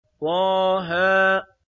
طه